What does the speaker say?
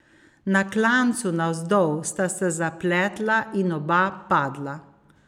Na klancu navzdol sta se zapletla in oba padla.